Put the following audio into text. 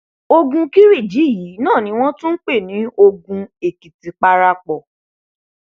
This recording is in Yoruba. ogun kiriji yìí náà ni wọn tún ń pè ní ogun èkìtì parapọ